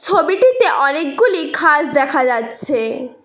ছবিটিতে অনেকগুলি ঘাস দেখা যাচ্ছে।